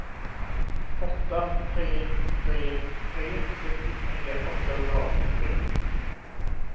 åtta tre tre tre sextiotre åttahundraåttiotre